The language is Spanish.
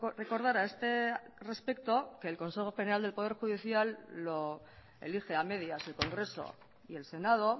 recordar a este respecto que el consejo general del poder judicial lo elige a medias el congreso y el senado